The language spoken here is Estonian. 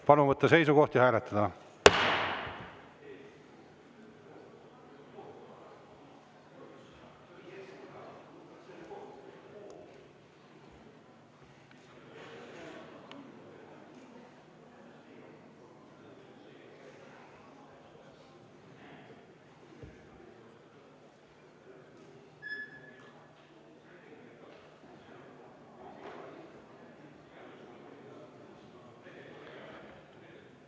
Palun võtta seisukoht ja hääletada!